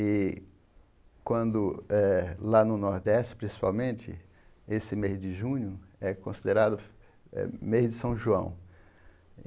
E quando eh lá no Nordeste, principalmente, esse mês de junho é considerado eh mês de São João.